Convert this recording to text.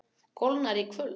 Kólnar í kvöld